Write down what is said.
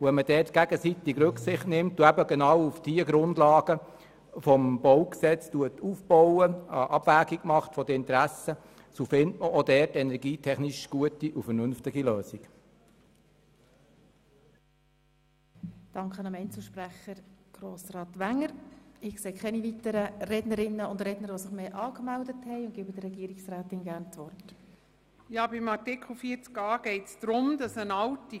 Wenn man gegenseitig Rücksicht nimmt, auf den Grundlagen des BauG aufbaut und eine Interessenabwägung vornimmt, findet man auch dort energietechnisch gute, vernünftige Lösungen.